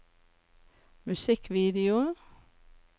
musikkvideo